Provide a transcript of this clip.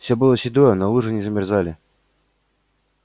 всё было седое но лужи не замерзали